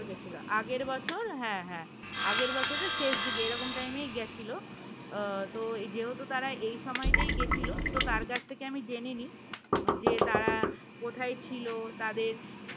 আগের বছর হ্যাঁ হ্যাঁ আগের বছরের শেষ দিকে এরকম টাইম এ গেছিল আহ তো যেহেতু তারা এই সময়টাতে গেছিল তো তার কাছ থেকে আমি জেনে নেই যে তারা কোথায় ছিল তাদের